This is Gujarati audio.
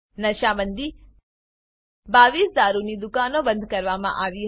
નશા Bandiનશા બંદી 22 દારૂની દુકાનો બંધ કરવામાં આવી હતી